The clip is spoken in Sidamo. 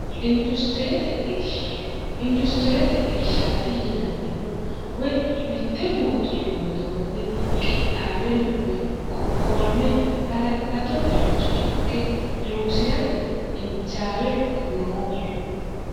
industirete irshaati yinannihu woy mitte mootumma widoonni qixxaawenna woy qoqqowame hala'lado baacho ikke loosi'rate injaawe noohu